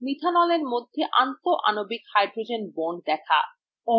methanolএর মধ্যে আন্তঃআণবিক hydrogen bond দেখা